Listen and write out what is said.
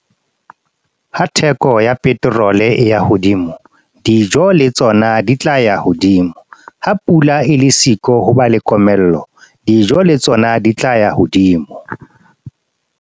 Ha theko ya petrol e ya hodimo, dijo le tsona di tla ya hodimo. Ha pula e le siko, ho ba le komello. Dijo le tsona di tla ya hodimo.